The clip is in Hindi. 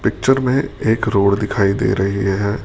पिक्चर में एक रोड दिखाई दे रही है।